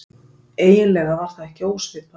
Eiginlega var það ekki ósvipað